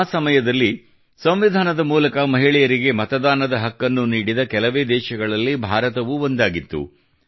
ಆ ಸಮಯದಲ್ಲಿ ಸಂವಿಧಾನದ ಮೂಲಕ ಮಹಿಳೆಯರಿಗೆ ಮತದಾನದ ಹಕ್ಕನ್ನು ನೀಡಿದ ಕೆಲವೇ ದೇಶಗಳಲ್ಲಿ ಭಾರತವೂ ಒಂದಾಗಿತ್ತು